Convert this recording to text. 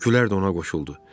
Gülər də ona qoşuldu.